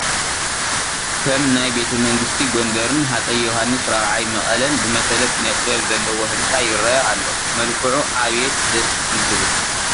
ከም ናይ ቤተ መንግስቲ ጐንደርን ሃፀይ ዮሃንስ 4ይ መቐለን ዝመሰለ ኪነ ጥበብ ዘለዎ ህንፃ ይርአ ኣሎ፡፡ መልክዑ ኣቤት ደስ እንትብል፡፡